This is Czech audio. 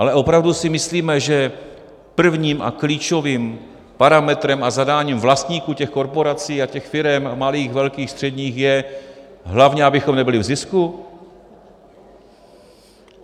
Ale opravdu si myslíme, že prvním a klíčovým parametrem a zadáním vlastníků těch korporací a těch firem malých, velkých, středních je, hlavně abychom nebyli v zisku?